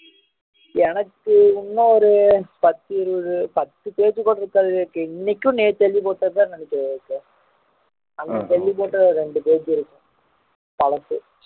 எனக்கு இன்னும் ஒரு பத்து இருவது பத்து page கூட இருக்காது விவேக் இன்னைக்கும் நேத்து எழுதி போட்டது தான் எனக்கு இருக்கு அன்னைக்கு எழுதி போட்டது ஒரு ரெண்டு page இருக்கும் பழசு